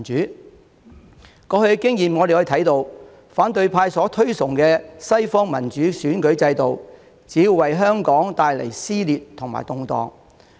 "從過去的經驗可以看到，反對派所推崇的西方民主選舉制度，只會為香港帶來撕裂和動盪。